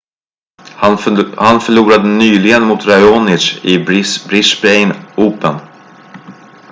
han förlorade nyligen mot raonic i brisbane open